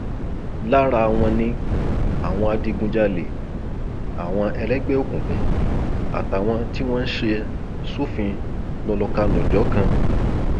lára wọn ni àwọn adigunjalè àwọn ẹlẹgbẹ òkùnkùn àtàwọn tí wọn ń ṣe sófin lọlọkanò jọkan